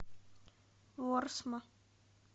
ворсма